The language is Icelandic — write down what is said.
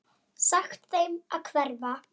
Sagt þeim að hverfa.